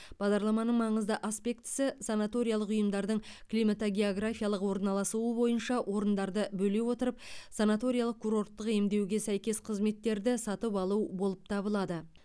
бағдарламаның маңызды аспектісі санаториялық ұйымдардың климатогеографиялық орналасуы бойынша орындарды бөле отырып санаториялық курорттық емдеуге сәйкес қызметтерді сатып алу болып табылады